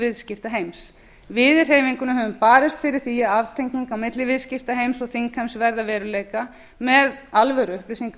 viðskiptaheims við í hreyfingunni höfum barist fyrir því að aftenging milli viðskiptaheimi og þingheims verði að veruleika með alvöruupplýsingalöggjöf meðal annars það ætti